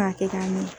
K'a kɛ k'a ɲɛ